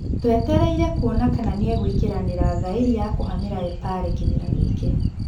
Tũetereire kuona kana nĩeguĩkĩranira thaĩri ya kũhamĩra Epale kĩmera gĩkĩ.